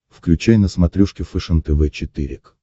включай на смотрешке фэшен тв четыре к